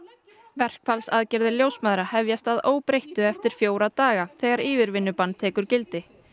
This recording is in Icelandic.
verkfallsaðgerðir ljósmæðra hefjast að óbreyttu eftir fjóra daga þegar yfirvinnubann tekur gildi